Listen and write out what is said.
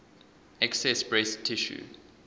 excess breast tissue